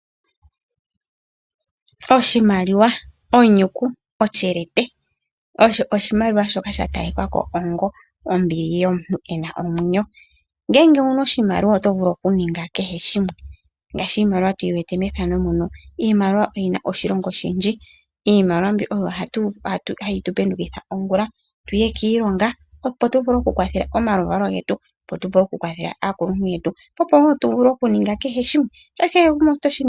Oshimaliwa, onyuku, otyelete osho oshimaliwa shoka sha tali kako ongo ombili yomuntu ena omwenyo. Ngele owuna oshimaliwa oto vulu oku ninga kehe shimwe ngaashi iimaliwa tuyi wete mefano muno iimaliwa oyina oshi longa oshindji. Iimaliwa mbi oyo hayi tu pendukitha ongula onene tuye kiilongo opo tu vule oku kwathela omaluvalo opowo tu vule oku kwathela aakuluntu yetu opowo tu vule oku ninga kehe shimwe.